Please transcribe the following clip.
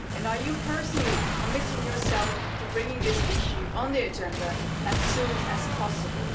Are you personally committing yourself to putting this issue on the agenda as soon as possible?